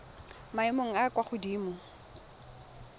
maemong a a kwa godimo